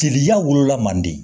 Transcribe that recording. Teliya wolola man di